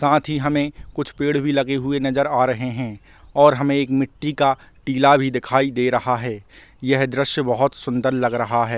साथ ही हमे कुछ पेड़ भी लगे हुए नजर आ रहे है और हमे एक मिट्टी का टीला भी दिखाई दे रहा है यह दृश्या बहुत सूंदर लग रहा हैं।